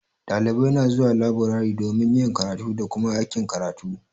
Dalibai na zuwa laburare domin yin karatu da Kuma aikin karatu.